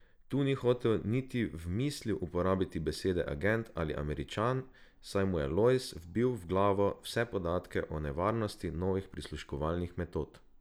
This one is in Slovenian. Tu ni hotel niti v mislil uporabiti besede agent ali Američan, saj mu je Lojz vbil v glavo vse podatke o nevarnosti novih prisluškovalnih metod.